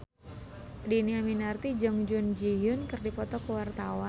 Dhini Aminarti jeung Jun Ji Hyun keur dipoto ku wartawan